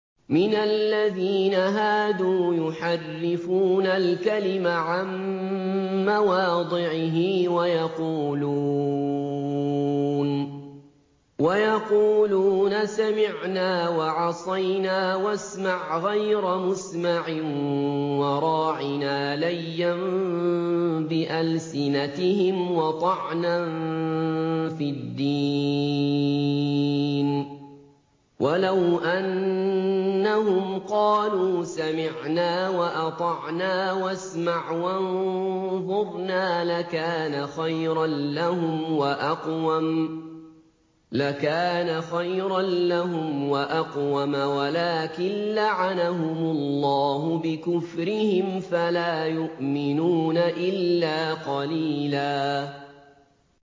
مِّنَ الَّذِينَ هَادُوا يُحَرِّفُونَ الْكَلِمَ عَن مَّوَاضِعِهِ وَيَقُولُونَ سَمِعْنَا وَعَصَيْنَا وَاسْمَعْ غَيْرَ مُسْمَعٍ وَرَاعِنَا لَيًّا بِأَلْسِنَتِهِمْ وَطَعْنًا فِي الدِّينِ ۚ وَلَوْ أَنَّهُمْ قَالُوا سَمِعْنَا وَأَطَعْنَا وَاسْمَعْ وَانظُرْنَا لَكَانَ خَيْرًا لَّهُمْ وَأَقْوَمَ وَلَٰكِن لَّعَنَهُمُ اللَّهُ بِكُفْرِهِمْ فَلَا يُؤْمِنُونَ إِلَّا قَلِيلًا